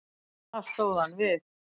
Það stóð hann við.